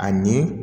Ani